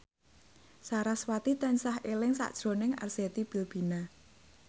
sarasvati tansah eling sakjroning Arzetti Bilbina